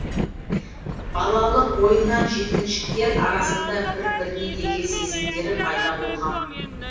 балалық ойыннан жеткіншектер арасында бір біріне деген сезімдері пайда болған